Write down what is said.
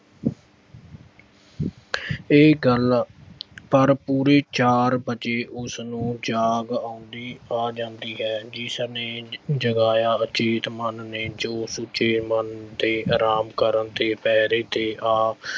ਇਹ ਗੱਲ ਪਰ ਪੂਰੇ ਚਾਰ ਵਜੇ ਉਸਨੂੰ ਜਾਗ ਆਉਂਦੀ ਆ ਜਾਂਦੀ ਹੈ ਜਿਸ ਨੇ ਅਹ ਜਗਾਇਆ ਅਚੇਤ ਮਨ ਨੇ ਜੋ ਸੁਚੇਤ ਮਨ ਦੇ ਆਰਾਮ ਕਰਨ ਤੇ ਪੈਰੇ ਤੇ ਆ